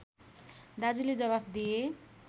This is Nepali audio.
दाजुले जवाफ दिए